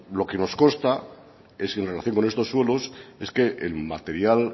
lo que nos consta es que en relación con estos suelos es que el material